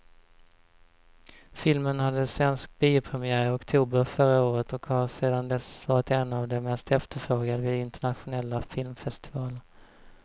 Filmen hade svensk biopremiär i oktober förra året och har sedan dess varit en av de mest efterfrågade vid internationella filmfestivaler.